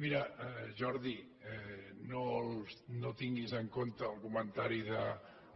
mira jordi no tinguis en compte el comentari